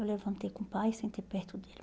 Eu levantei com o pai, sentei perto dele.